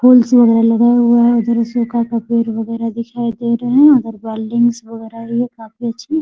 फूल्स वगैरा लगा हुआ है। उधर अशोका का पेड़ वगेरह दिखाई दे रहा है। उधर बिल्डिंग्स वगैरा है काफी अच्छी |